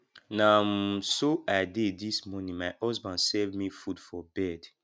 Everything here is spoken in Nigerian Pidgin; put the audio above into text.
na um so i dey dis morning my husband serve me food for bed